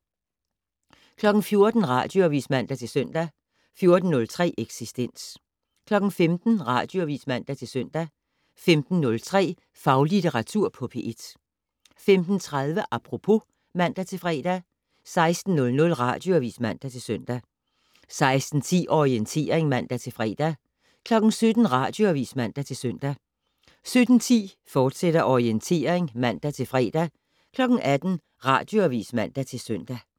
14:00: Radioavis (man-søn) 14:03: Eksistens 15:00: Radioavis (man-søn) 15:03: Faglitteratur på P1 15:30: Apropos (man-fre) 16:00: Radioavis (man-søn) 16:10: Orientering (man-fre) 17:00: Radioavis (man-søn) 17:10: Orientering, fortsat (man-fre) 18:00: Radioavis (man-søn)